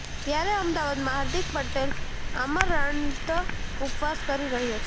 ત્યારે અમદાવાદમાં હાર્દિક પટેલ આમરણાંત ઉપવાસ કરી રહ્યો છે